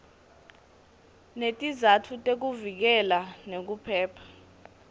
netizatfu tekuvikeleka nekuphepha